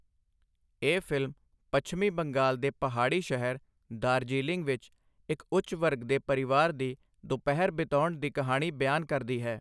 ਇਹ ਫ਼ਿਲਮ ਪੱਛਮੀ ਬੰਗਾਲ ਦੇ ਪਹਾੜੀ ਸ਼ਹਿਰ ਦਾਰਜੀਲਿੰਗ ਵਿੱਚ ਇੱਕ ਉੱਚ ਵਰਗ ਦੇ ਪਰਿਵਾਰ ਦੀ ਦੁਪਹਿਰ ਬਿਤਾਉਣ ਦੀ ਕਹਾਣੀ ਬਿਆਨ ਕਰਦੀ ਹੈ।